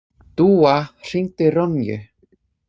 Dúa, hringdu í Ronju.